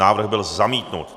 Návrh byl zamítnut.